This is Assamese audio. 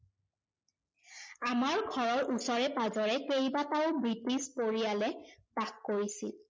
আমাৰ ঘৰৰ ওচৰে- পাজৰে কেইবাটাও ব্ৰিটিছ পৰিয়ালে বাস কৰিছিল।